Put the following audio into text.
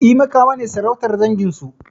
E, Makama ne sarautar dangin su.